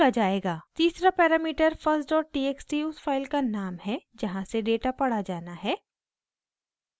तीसरा parameter firsttxt उस file का नाम है जहाँ से डेटा पढ़ा जाना है